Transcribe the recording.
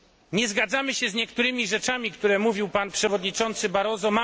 Nie zgadzamy się z niektórymi kwestiami, o których mówił pan przewodniczący Barroso.